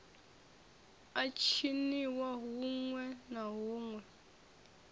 a tshiniwa huṋwe na huṋwe